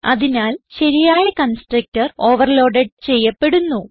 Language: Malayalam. അതിനാൽ ശരിയായ കൺസ്ട്രക്ടർ ഓവർലോഡ് ചെയ്യപ്പെടുന്നു